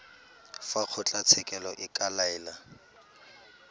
fa kgotlatshekelo e ka laela